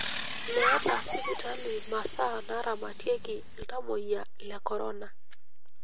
Meeta sipitalini masaa naaramatie iltamoyia le korona.